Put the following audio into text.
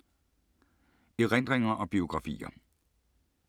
Erindringer og biografier